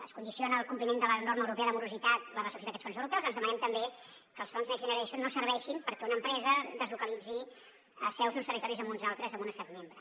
es condiciona al compliment de la norma europea de morositat la recepció d’aquests fons europeus doncs demanem també que els fons next generation no serveixin perquè una empresa deslocalitzi seus d’uns territoris a uns altres en un estat membre